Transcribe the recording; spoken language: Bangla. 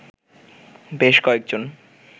বেশ কয়েকজন